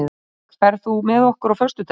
Ingberg, ferð þú með okkur á föstudaginn?